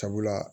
Sabula